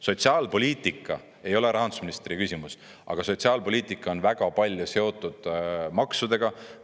Sotsiaalpoliitika ei ole rahandusministri küsimus, aga sotsiaalpoliitika on väga palju seotud maksudega.